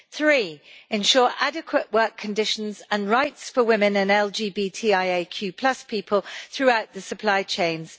Thirdly, ensure adequate work conditions and rights for women and LGBTIAQ people throughout the supply chains.